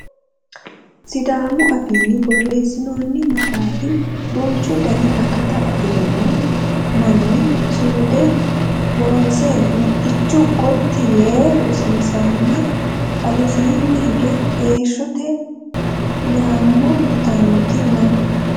Sidaamu afiinni borreessinoonni maxaafa duuchu dani akata afirino manu suude loonse mittichu gotti yee rosiisanna alesiinni higge heeshshote nyammo yitannoti no